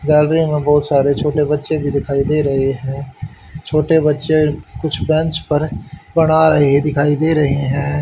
Gallery में बहुत सारे छोटे बच्चे भी दिखाई दे रहे हैं छोटे बच्चे कुछ बेंच पर बना रहे दिखाई दे रहे हैं।